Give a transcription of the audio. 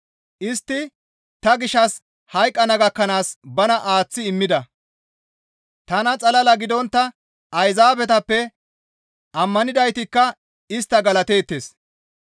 Istti ta gishshas hayqqana gakkanaas bana aaththi immida; tana xalala gidontta Ayzaabetappe ammanidaytikka istta galateettes.